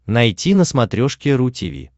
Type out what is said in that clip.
найти на смотрешке ру ти ви